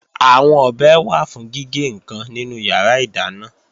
Àwọn ọ̀bẹ wà fún gígé ǹkan nínú yàrá ìdáná